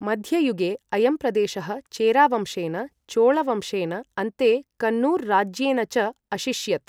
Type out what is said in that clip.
मध्ययुगे अयं प्रदेशः चेरा वंशेन, चोळ वंशेन, अन्ते कन्नूर् राज्येन च अशिष्यत्।